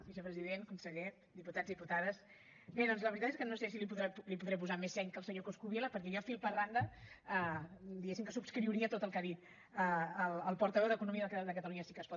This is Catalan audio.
vicepresident conseller diputats diputades bé doncs la veritat és que no sé si hi podré posar més seny que el senyor coscubiela perquè jo fil per randa diguem que subscriuria tot el que ha dit el portaveu d’economia de catalunya sí que es pot